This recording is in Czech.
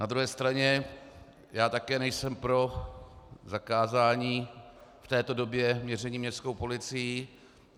Na druhé straně já také nejsem pro zakázání v této době měření městskou policií.